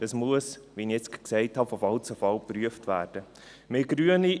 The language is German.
Das muss von Fall zu Fall geprüft werden, wie ich gerade gesagt habe.